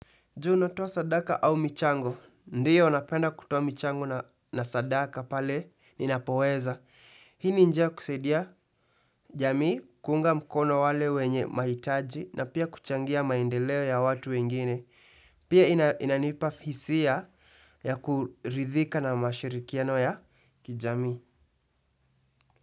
Je, unatoa sadaka au michango. Ndiyo napenda kutoa michango na sadaka pale ninapoweza. Hii ni njia ya kusaidia jamii kuunga mkono wale wenye mahitaji na pia kuchangia maendeleo ya watu wengine. Pia inanipa fisia ya kuridhika na mashirikiano ya kijamii.